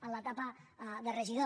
a l’etapa de regidor